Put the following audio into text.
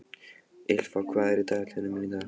Ýlfa, hvað er í dagatalinu mínu í dag?